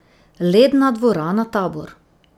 Ledna dvorana Tabor.